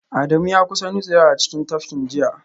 Adamu ya kusa nutsewa a cikin tafkin jiya